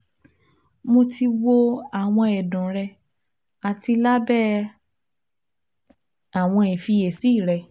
Mo ti wo awọn ẹdun rẹ ati labẹ awọn ifiyesi rẹ